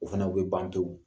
O fana o bɛ ban pewu